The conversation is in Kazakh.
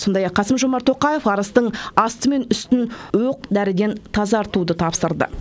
сондай ақ қасым жомарт тоқаев арыстың асты мен үстін оқ дәріден тазартуды тапсырды